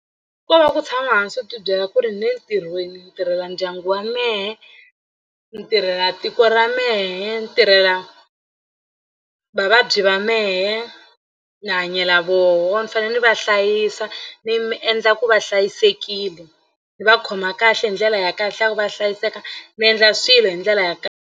Ko va ku tshama hansi u tibyela ku ri ni le ntirhweni ni tirhela ndyangu wa mehe ni tirhela tiko ra mehe ni tirhela vavabyi va mehe ni hanyela voho ni fanele ni va hlayisa ni mi endla ku va hlayisekile ni va khoma kahle hi ndlela ya kahle ya ku va hlayiseka ni endla swilo hi ndlela ya .